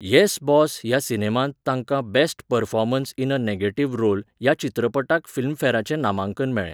येस boss ह्या सिनेमांत ताका 'best performance in a negative role' ह्या चित्रपटाक फिल्मफॅराचें नामांकन मेळ्ळें.